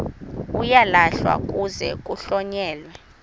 uyalahlwa kuze kuhlonyelwe